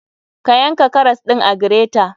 Ka yanka karas ɗin a greter.